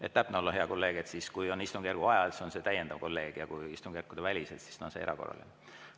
Et täpne olla, hea kolleeg, kui on istungjärgu ajal, siis on see täiendav, ja kui istungjärkude välisel ajal, siis on see erakorraline.